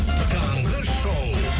таңғы шоу